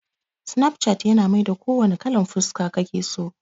Snapchat yana maida ko wanna kalan fuska kake so